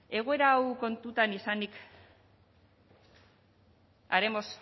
egoera hau kontutan izanik haremos